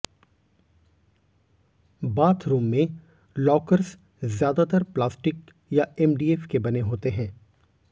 bathroom में lockers ज्यादातर plastic या एमडीएफ के बने होते हैं